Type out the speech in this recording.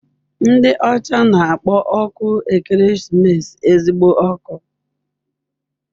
Ndị ọcha na-akpọ ọkụ ekeresimesi "ezigbo ọkụ."